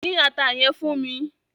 Dín ata yẹn fún mi!